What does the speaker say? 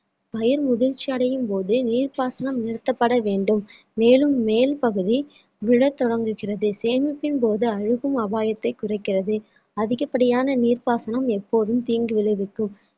பயிர் முதிர்ச்சி அடையும் போது நீர்ப்பாசனம் நிறுத்தப்பட வேண்டும் மேலும் மேல்பகுதி விட தொடங்குகிறது சேமிப்பின் போது அழுகும் அபாயத்தை குறைக்கிறது அதிகப்படியான நீர்ப்பாசனம் எப்போதும் தீங்கு விளைவிக்கும்